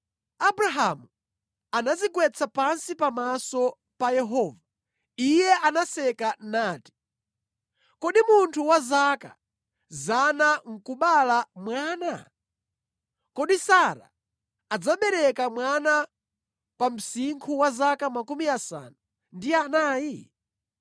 Abrahamu anadzigwetsa pansi pamaso pa Yehova, Iye anaseka nati, “Kodi munthu wa zaka 100 nʼkubala mwana? Kodi Sara adzabereka mwana pa msinkhu wa zaka makumi asanu ndi anayi?”